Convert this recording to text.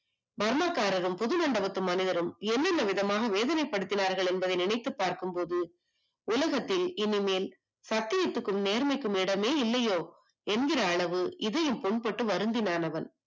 Burma காரரும் புது மண்டபத்து மனிதரும் என்னென்ன விதமாக வேதனைப்படுத்தினார்கள் என்பதை சிந்தித்துப் பார்க்கும்போது உலகத்தில் இனிமேல் சத்தியத்திற்கும் நேர்மைக்கும் இடமே இல்லையோ என்கிற அளவு புண்பட்டு வழிந்தினானவன்